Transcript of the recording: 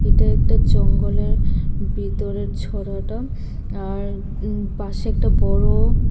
এটা একটা জঙ্গলের ভিতরের ছরাটা আর পাশে একটা বড়--